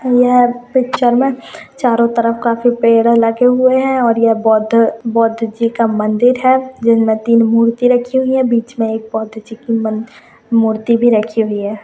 यह पिक्चर में चारो तरफ काफी पेड़ लगे हुए है ये बौद्ध जी का मंन्दिर है जिसमे तीन मूर्ति रखी हुई जिसमे बिच में बौद्ध जी की मूर्ति रखी हुई है